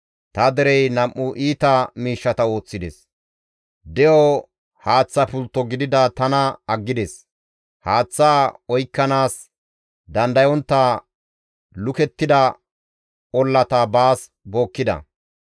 Ta derey nam7u iita miishshata ooththides; de7o haaththa pultto gidida tana aggides; haaththa oykkanaas dandayontta lukettida ollata baas bookkida.